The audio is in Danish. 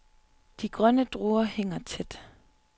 De grønne druer hænger tæt.